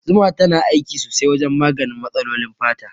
Zuma tana aiki sosai wajen maganin matsalolin fata.